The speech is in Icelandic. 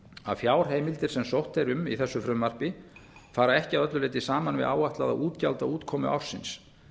að fjárheimildir sem sótt er um í þessu frumvarpi fara ekki að öllu leyti saman við áætlaða útgjaldaútkomu ársins